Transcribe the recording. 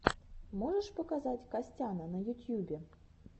можешь показать костяна в ютьюбе